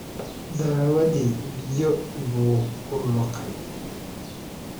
Daawadii biyo buu ku liqay.